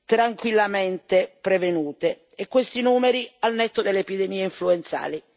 tranquillamente prevenute e questi numeri al netto delle epidemie influenzali.